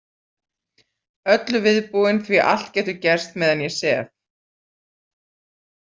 Öllu viðbúin því allt getur gerst meðan ég sef.